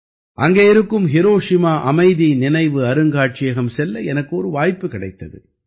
அங்கே இருக்கும் ஹிரோஷிமா அமைதி நினைவு அருங்காட்சியகம் செல்ல எனக்கு ஒரு வாய்ப்பு கிடைத்தது